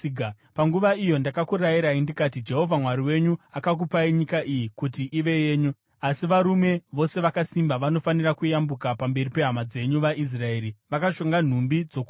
Panguva iyo ndakakurayirai, ndikati, “Jehovha Mwari wenyu akakupai nyika iyi kuti ive yenyu. Asi varume vose vakasimba vanofanira kuyambuka pamberi pehama dzenyu vaIsraeri, vakashonga nhumbi dzokurwa.